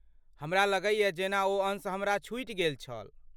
हमरा लगैए जेना ओ अंश हमरा छुटि गेल छल।